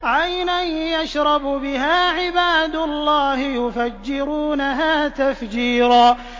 عَيْنًا يَشْرَبُ بِهَا عِبَادُ اللَّهِ يُفَجِّرُونَهَا تَفْجِيرًا